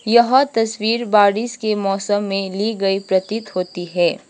यह तस्वीर बारिश के मौसम में ली गई प्रतीत होती है।